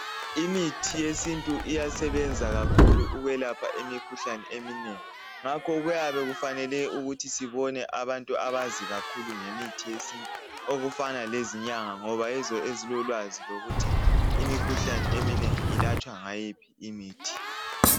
Imithi yesintu iyasebenza kakhulu ukwelapha imikhuhlane eminengi ngakho kuyabe kufanele ukuthi sibone abantu abazi kakhulu ngemithi yesintu okufana lezinyanga ngoba yizo ezilolwazi lokuthi imikhuhlane eminengi ilatshwa ngayiphi imithi